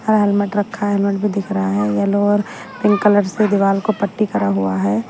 Helmet रखा है helmet भी दिख रहा है येलो और पिंक कलर से दीवाल को पट्टी करा हुआ है।